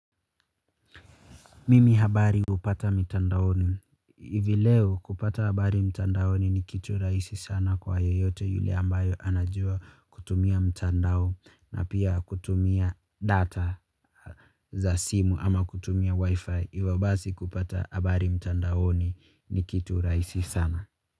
Mimi habari hupata mitandaoni. Hivi leo kupata habari mitandaoni ni kitu rahisi sana kwa yoyote yule ambaye anajua kutumia mtandao na pia kutumia data za simu ama kutumia wifi hivyo basi kupata habari mtandaoni ni kitu rahisi sana.